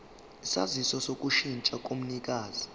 isaziso sokushintsha komnikazi